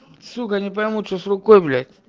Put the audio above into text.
вот сука не пойму что с рукой блядь